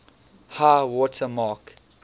high water mark